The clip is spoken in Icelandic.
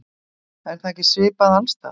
Er það ekki svipað alls staðar?